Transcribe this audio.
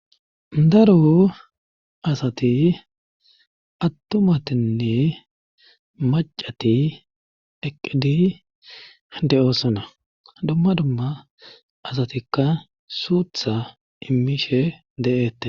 Daro asati attumatinne macati eqqidi de7ossana dumma dumma asatikka suutha immishe de7eette